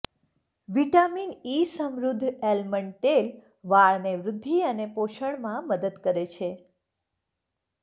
vitamin E સમૃદ્ધ almond તેલ વાળને વૃદ્ધિ અને પોષણમાં મદદ કરે છે